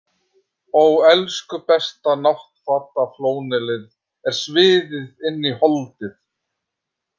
Ó elsku besta, náttfataflónelið er sviðið inn í holdið!